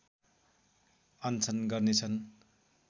अनसन गर्नेछन्